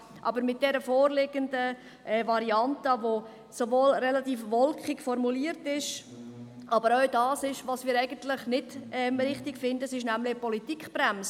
Aber die vorliegende Variante, welche relativ wolkig formuliert ist und auch das ist, was wir nicht richtig finden, ist eine Politikbremse.